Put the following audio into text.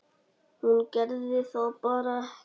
Hún gerði það bara ekki.